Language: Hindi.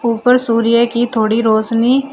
ऊपर सूर्य की थोड़ी रोशनी--